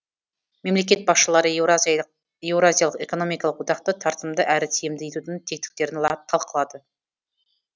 мемлекет басшылары еуразиялық экономикалық одақты тартымды әрі тиімді етудің тетіктерін талқылады